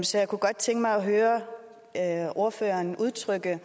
så jeg kunne godt tænke mig at høre ordføreren udtrykke